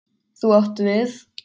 Þú átt við.